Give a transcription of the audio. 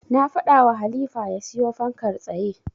Na faɗawa Halifa ya siyo fankar tsaye.